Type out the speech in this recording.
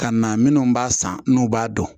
Ka na minnu b'a san n'u b'a dɔn